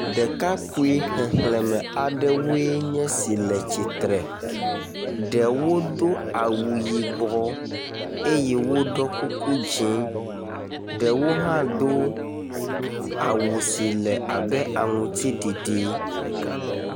Ɖekakpui xexlẽme aɖewoe nye esi le tsitre, ɖewo do awu yibɔ eye woɖɔ kuku dze, ɖewo hã do awu si le abe aŋuti ɖiɖi.